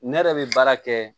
Ne yɛrɛ bɛ baara kɛ